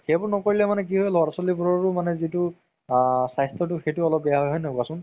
সেইবোৰ নকৰিলে কি হয় ল'ৰা ছোৱালি বিলাকৰও মানে যিতো আ স্বাস্থ্যতো সেইটো অলপ বেয়া হয় কোৱাচোন